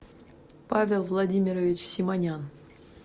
павел владимирович симонян